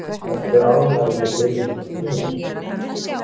Ertu ánægður með byrjunina á tímabilinu?